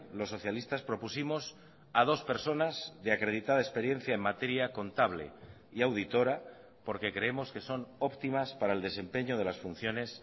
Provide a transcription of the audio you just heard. los socialistas propusimos a dos personas de acreditada experiencia en materia contable y auditora porque creemos que son óptimas para el desempeño de las funciones